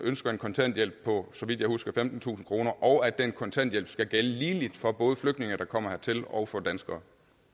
ønsker en kontanthjælp på så vidt jeg husker femtentusind kr og at den kontanthjælp skal gælde ligeligt for både flygtninge der kommer hertil og for danskere